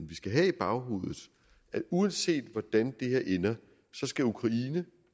vi skal have i baghovedet at uanset hvordan det her ender skal ukraine